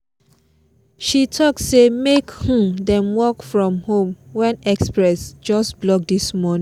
she talk say make um them work from home when express just block this morning